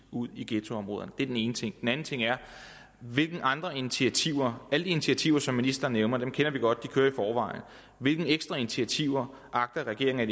ud i ghettoområderne det er den ene ting den anden ting er hvilke andre initiativer er de initiativer som ministeren nævner kender vi godt de kører i forvejen hvilke ekstra initiativer agter regeringen